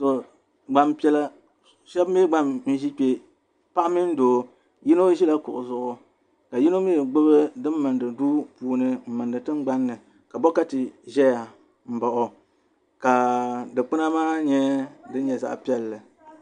gbanpiɛla shab mii gba n ʒi kpɛ paɣa mini doo yino ʒila kuɣu zuɣu ka yino mii gbubi din mindi nuu puuni din mindi tingbanni ka bokati ʒɛya n baɣa o ka dikpuna maa nyɛ din nyɛ zaɣ piɛlli